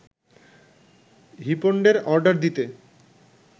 হূিপণ্ডের order দিতে